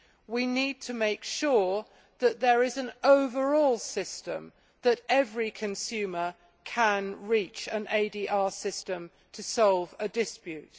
We need to make sure that there is an overall system to ensure that every consumer can reach an ADR system to solve a dispute.